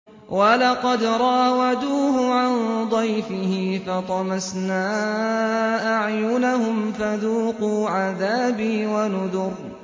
وَلَقَدْ رَاوَدُوهُ عَن ضَيْفِهِ فَطَمَسْنَا أَعْيُنَهُمْ فَذُوقُوا عَذَابِي وَنُذُرِ